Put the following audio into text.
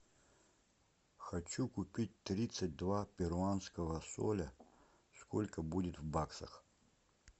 хочу купить тридцать два перуанского соля сколько будет в баксах